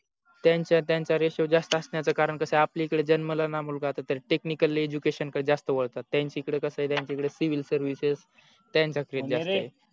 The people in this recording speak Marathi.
त्यांच्या त्याच ratio जास्त असण्याच कारण कस आहे आपल्या इकडे जन्मला णा मुलगा त्याला technical education कडे जास्त वळतात नाही त्यांचा एकडे कस आहे त्यांच्या कडे civil services त्यांच्या कडे जास्त आहे